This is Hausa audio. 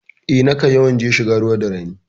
Eh, nakan yawan je shiga ruwa da rani.